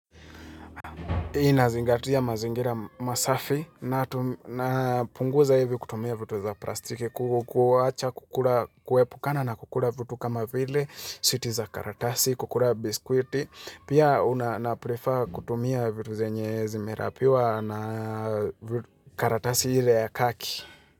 Ninazingatia mazingira masafi na punguza hivi kutumia vitu za plastiki kukuwacha kukula kuepukana na kukula vitu kama vile, switi za karatasi, kukula biskuiti. Pia una na prefer kutumia vitu zenye zi merapiwa na karatasi ile ya kaki.